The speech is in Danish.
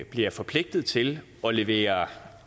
bliver forpligtet til at levere